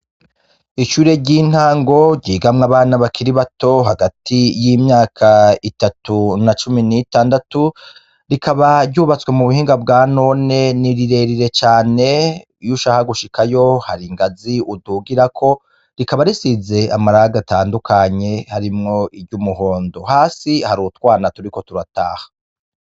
Ishure ry'intango ryigamwo abana bakiri bato hagati y'imyaka itatu na cumi n'itandatu, rikaba ryubatswe mu buhinga bwanone, ni rire rire cane, iyo ushaka gushikayo hari ingazi udugirako, rikaba risize amarangi atandukanye harimwo iry'umuhondo, hasi hari utwana turiko turataha.